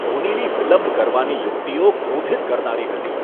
ધોનીની વિલંબ કરવાની યુક્તિઓ ક્રોધિત કરનારી હતી.